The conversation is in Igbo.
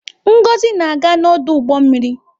Ngozi na-aga n'ọdụ ụgbọ mmiri.